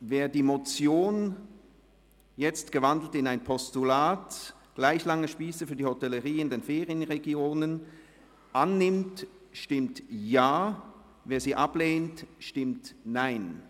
Wer das Postulat «Gleich lange Spiesse für die Hotellerie in den Ferienregionen […]» annimmt, stimmt Ja, wer dieses ablehnt, stimmt Nein.